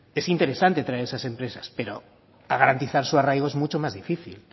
es interesante traer esa gente pero garantizar su arraigo es mucho más difícil